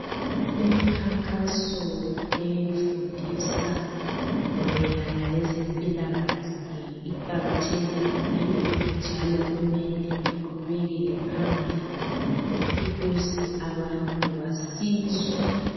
Imikhankaso efundisa mayelana lezempilakahle iqakathekile njalo kumele iqhubekele phambili ukuze abantu basizwe.